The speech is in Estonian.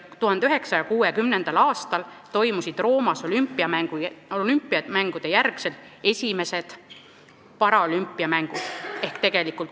1960. aastal ehk 64 aastat hiljem toimusid Roomas olümpiamängude järel esimesed paraolümpiamängud.